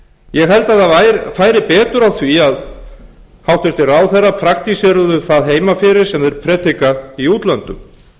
held að það færi betur á því að hæstvirtir ráðherrar praktíseruðu það heima fyrir sem þeir predika í útlöndum